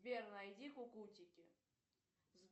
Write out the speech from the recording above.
сбер найди кукутики